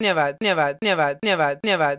धन्यवाद